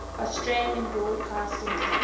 australian broadcasting corporation